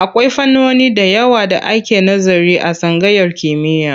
Akwai fannoni da yawa da ake nazari a tsangayar kimiyya.